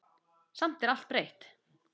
Samt er allt breytt.